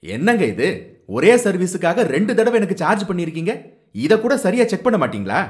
என்னங்க இது! ஒரே சர்வீஸுக்காக இரண்டு தடவ எனக்கு சார்ஜ் பண்ணிருக்கீங்க, இதக் கூட சரியா செக் பண்ண மாட்டீங்களா?